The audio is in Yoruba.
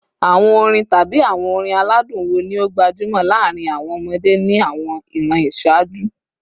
Awọn orin tabi awọn orin aladun wo ni o gbajumo laarin awọn ọmọde ni awọn iran iṣaaju?